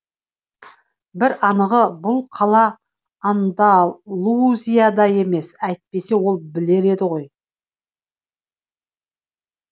бір анығы бұл қала андалузияда емес әйтпесе ол білер еді ғой